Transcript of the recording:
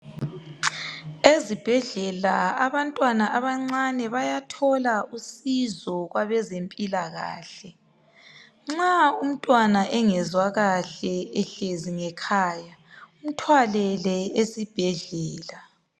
Ezibhedlela abantwana abancane bayathola usizo kwabezempilakahle. Nxa umtnwana engezwa kahle ehlezi ngekhaya mthwalele esibhedlela.